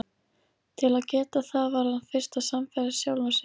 Til að geta það varð hann fyrst að sannfæra sjálfan sig.